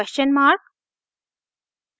questionmark